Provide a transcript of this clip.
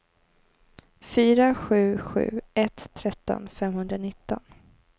fyra sju sju ett tretton femhundranitton